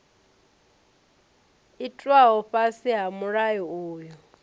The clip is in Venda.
itwaho fhasi ha mulayo uyu